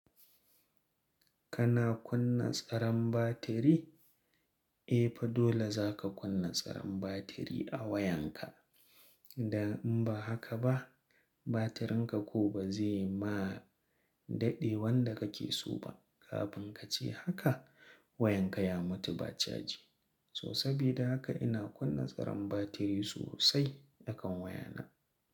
Kana kunna tsaron batiri? E fa dole zaka kunna tsaron batiri a wayanka. Dan in ba haka ba, batirinka ko ba zai ma daɗe wanda kake so ba. Kafin kace haka wayanka ya mutu ba caji. So sabida haka ina kunna tsaron batiri sosai akan wayana.